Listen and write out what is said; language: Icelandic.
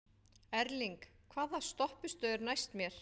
Erling, hvaða stoppistöð er næst mér?